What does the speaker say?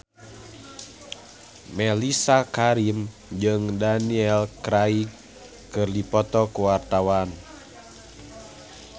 Mellisa Karim jeung Daniel Craig keur dipoto ku wartawan